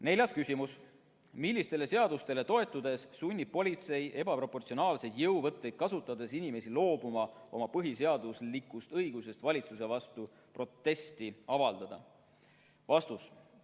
Neljas küsimus: "Millistele seadustele toetudes sunnib politsei ebaproportsionaalseid jõuvõtteid kasutades inimesi loobuma oma põhiseaduslikust õigusest valitsuse vastu protesti avaldada?